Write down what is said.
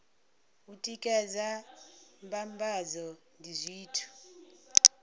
u tikedza mbambadzo ndi zwithu